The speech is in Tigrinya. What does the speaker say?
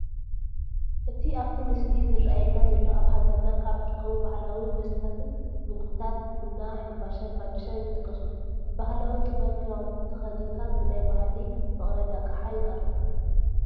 እቲ ኣብቲ ምስሊ ዝራኣየና ዘሎ ኣብ ሃገርና ካብ ዝርከቡ ባህላዊ መስተታትን ምግብታት ቡና፣ ሕምባሻን ፋንድሻን ይጥቀሱ፡፡ ብባህላዊ ጥበብ ክዳውንቲ ተኸዲንካ ብናይ ባህሊ መቐረቢ ኣቕሓ ይቐርብ፡፡